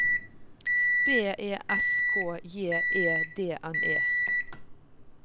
B E S K J E D N E